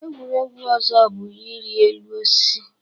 Egwuregwu ọzọ bụ irị elu osisi.